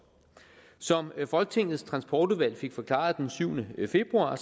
som folketingets transportudvalg fik forklaret den syvende februar har